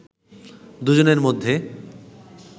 দুজনের মধ্যে